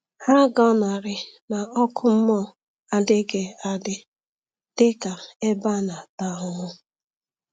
Ha gọnarị na ọkụ mmụọ adịghị adị dị ka ebe a na-ata ahụhụ.